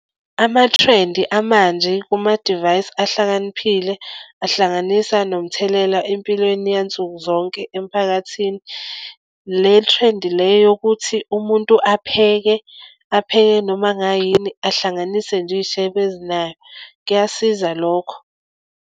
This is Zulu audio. Ama-trend amanje kumadivayisi ahlakaniphile ahlanganisa nomthelela empilweni yansukuzonke emiphakathini. Le trend le yokuthi umuntu apheke apheke noma ngayini ahlanganise nje iyishebo ezinaye kuyasiza lokho.